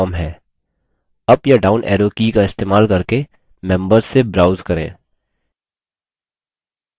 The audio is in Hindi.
अप या down arrow की का इस्तेमाल करके members से browse करें